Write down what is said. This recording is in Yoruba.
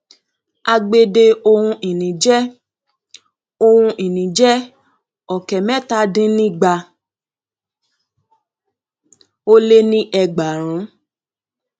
agbede ohun ìní jẹ ohun ìní jẹ ọkẹ mẹta dín ní igba ó lé ní ẹgbàárùn